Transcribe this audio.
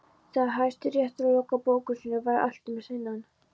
Þegar Hæstiréttur lokaði bókum sínum væri allt um seinan.